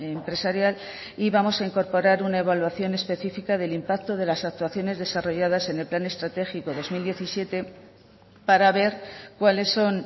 empresarial y vamos a incorporar una evaluación especifica del impacto de las actuaciones desarrolladas en el plan estratégico dos mil diecisiete para ver cuáles son